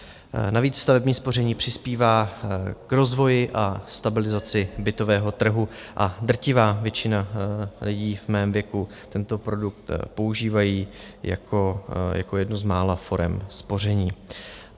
Navíc stavební spoření přispívá k rozvoji a stabilizaci bytového trhu a drtivá většina lidí v mém věku tento produkt používá jako jednu z mála forem spoření.